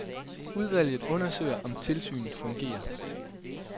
Udvalget undersøger om tilsynet fungerer.